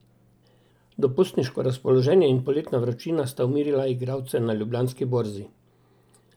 Dopustniško razpoloženje in poletna vročina sta umirila igralce na Ljubljanski borzi.